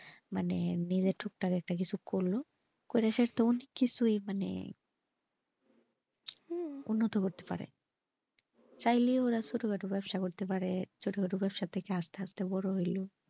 মানে বিয়ে টুকটাক একটা কিছু করি করে সেটা মানে কিছু হইবে নে উন্নতি করতে পারে চাইলে ওরা ছোট খাটো ব্যবসা করতে পারে ছোট খাটো ব্যবসা থেকে আস্তে আস্তে বড়ো হইবে।